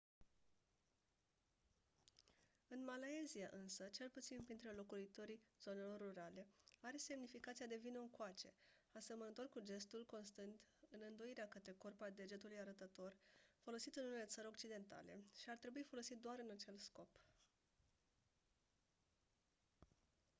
în malaysia însă cel puțin printre locuitorii zonelor rurale are semnificația de «vino-ncoace» asemănător cu gestul constând în îndoirea către corp a degetului arătător folosit în unele țări occidentale și ar trebui folosit doar în acel scop.